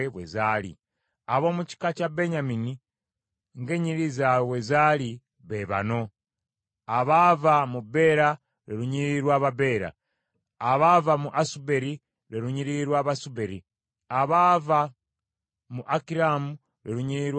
Ab’omu kika kya Benyamini ng’ennyiriri zaabwe bwe zaali, be bano: abaava mu Bera, lwe lunyiriri lw’Ababera; abaava mu Asuberi, lwe lunyiriri lw’Abasuberi abaava mu Akiramu, lwe lunyiriri lw’Abakiramu